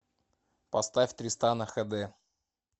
поставь тристана хд